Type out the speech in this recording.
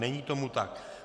Není tomu tak.